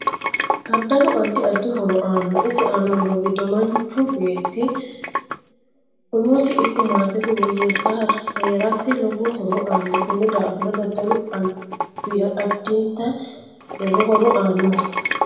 Daddalu addi addi horo aann isi aano horo giddo manchu beeti umosino ikko maatesi woyeese heerate lowo horo aanno konni daafira daddalu addibta lowo horo aanoho